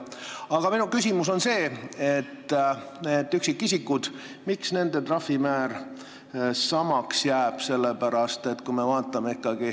Aga minu küsimus on see, et miks üksikisikute trahvimäär samaks jääb.